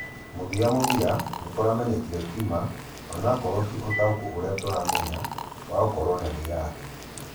Muthĩamuthĩa, nĩkũronekĩre tĩ ma - onakorwo tĩ ũtaũkũ ũrĩa tũramenya wa gũkorwo na wĩathĩ